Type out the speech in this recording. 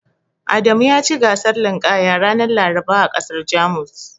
Adamu yaci gasar linƙaya ranar Laraba a ƙasar Jamus.